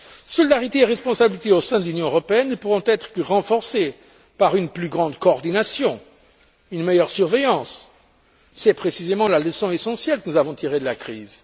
Solidarité et responsabilité au sein de l'Union européenne ne pourront être que renforcées par une plus grande coordination, une meilleure surveillance. C'est précisément la leçon essentielle que nous avons tirée de la crise.